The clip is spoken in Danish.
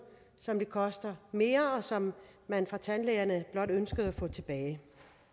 som det koster mere og som man fra tandlægernes side blot ønskede at få tilbage